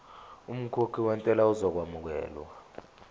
umkhokhi wentela uzokwamukelwa